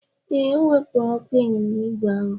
Ee, o wepụrụ ọkụ ịnyịnya ígwè ahụ.